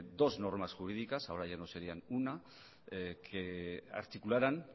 dos normas jurídicas ahora ya no sería una se articularan